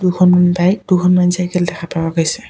দুখনমান বাইক দুখনমান চাইকেল দেখা পোৱা গৈছে।